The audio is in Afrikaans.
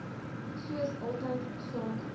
soos altyd sake